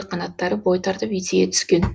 қанаттары бой тартып есейе түскен